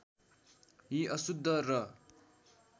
यी अशुद्ध र